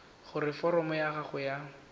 gore foromo ya gago ya